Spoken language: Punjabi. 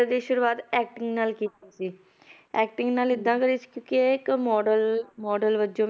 ਦੀ ਸ਼ੁਰੂਆਤ acting ਨਾਲ ਕੀਤੀ ਸੀ acting ਨਾਲ ਏਦਾਂ ਕਰੀ ਸੀ, ਕਿਉਂਕਿ ਇਹ ਇੱਕ model model ਵਜੋਂ